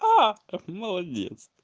аа молодец